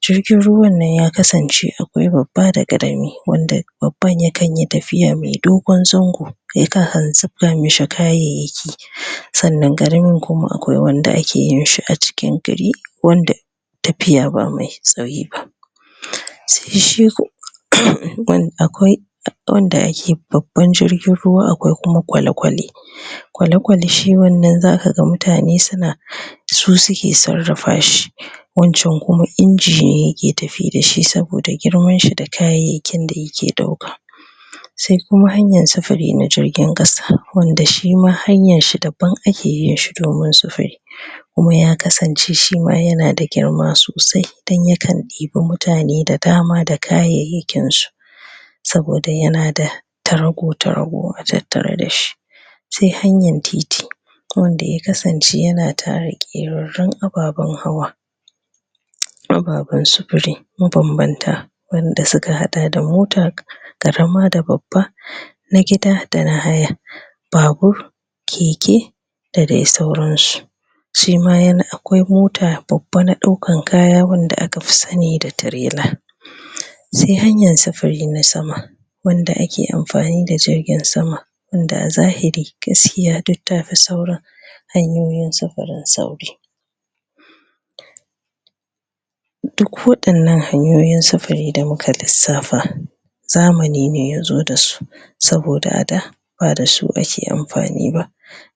jirgin ruwan nan ya kasance akwai babba da ƙarami wanda babban ya kan yi tafiya mai dogon zango ya kan hanziffa mai kayayyaki hmm sannan ƙarami kuma akwai wanda ake yin shi a cikin gari wanda tafiya ba mai tsayi ba hmm sai shi ko umhm akwai wanda ake babban jirgin ruwa akwai kuma kwalekwale uhm kwalekwale shi wannan za ka ga mutane suna uhm su suke sarrafa shi wancan kuma inji ne ke tafi da shi saboda girman shi da kayayyakin da yake ɗauka sai kuma hanyar sufuri na jirgin ƙasa wanda shi ma hanyar shi daban ake yin shi domin sufuri uhmm kuma ya kasance shi ma yana da girma sosai don ya kan ɗibi mutane da dama da kayayyakinsu saboda yana da tarago-tarago a tattare da shi sai hanyar titi wanda ya kasance yana tare ƙerarrun ababen hawa ababen sufuri mabambanta wanda suka haɗa da mota ƙarama da babba hmm na gida da na haya babur keke da dai sauransu shi ma yana akwai mota babba na ɗaukan kaya wanda aka fi sani da tirela humm sai hanyar sufuri na sama wanda ake amfani da jirgin sama wanda a zahiri gaskiya duk ta fi sauran hanyoyin sufurin sauri duk waɗannan hanyoyin sufuri da muka lissafa zamani ne ya zo da su saboda a da ba da su ake amfani ba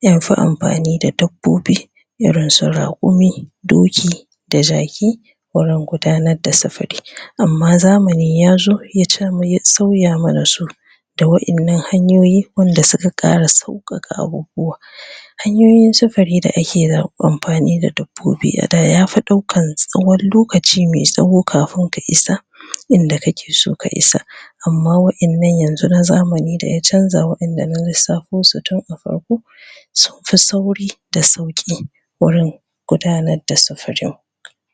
an fi amfani da dabbiobi irin su raƙumi doki da jaki wurin gudanar da sufuri amma zamani ya zo ya samu ya sauya mana su da waɗannan hanyoyi wanda suka ƙara sauƙaƙa abubuwa hanyoyin sufuri da ake amfani da dabbobi a da ya fi ɗaukan tsawon lokaci mai tsawo kafin ka isa inda kake so ka isa amma waɗannan yanzu na zamani da ya canja waɗanda na lissafo akwai su tun a farko sun fi sauri da sauƙi wurin gudanar da sufurin.